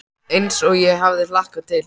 Eins og ég hafði hlakkað til.